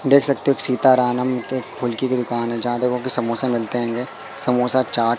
देख सकते हो सीताराम के फूल की दुकान है जहां देखो के समोसे मिलते होंगे समोसा चाट--